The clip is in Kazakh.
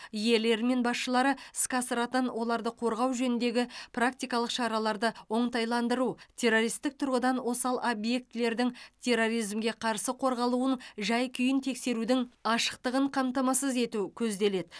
иелері мен басшылары іске асыратын оларды қорғау жөніндегі практикалық шараларды оңтайландыру террористік тұрғыдан осал объектілердің терроризмге қарсы қорғалуының жай күйін тексерудің ашықтығын қамтамасыз ету көзделеді